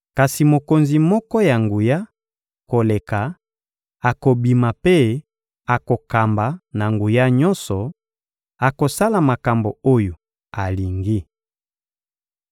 Kasi mokonzi moko ya nguya koleka akobima mpe akokamba na nguya nyonso, akosala makambo oyo alingi.